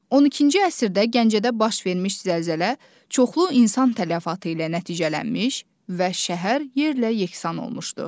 12-ci əsrdə Gəncədə baş vermiş zəlzələ çoxlu insan tələfatı ilə nəticələnmiş və şəhər yerlə yeksan olmuşdur.